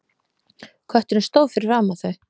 Kötturinn stóð fyrir framan þau.